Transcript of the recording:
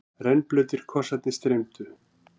Rennblautir kossarnir streymdu.